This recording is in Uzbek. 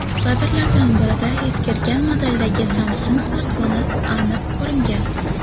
Kadrlardan birida eskirgan modeldagi Samsung smartfoni aniq ko‘ringan.